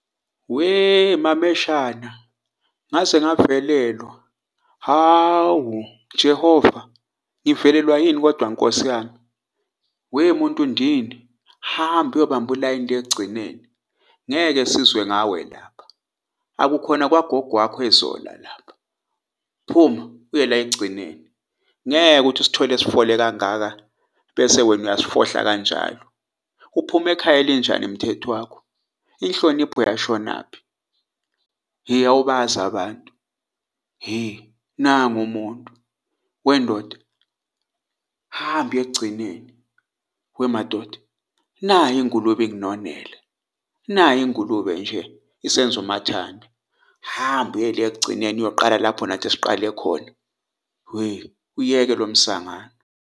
We mameshana! Ngaze ngavelelwa. Hawu, Jehova, ngivelelwa yini kodwa Nkosi yami? We muntu ndini hamba uyobamba ulayini le ekugcineni ngeke sizwe ngawe lapha. Akukhona kwagogo wakho eZola lapha, phuma uye la ekugcineni, ngeke uthi usithole sifonele kangaka, bese wena uyasifohla kanjalo. Uphuma ekhaya elinjani umthetho wakho? Inhlonipho yashonaphi? Hhe awubazi abantu, hhe nangu umuntu. Wendoda! Hamba uye ekugcineni. Wemadoda nayi ingulube inginonela, nayi ingulube nje isenzumathanda hamba uye le ekugcineni uyoqala lapho nathi siqale khona, uyeke lo msangano.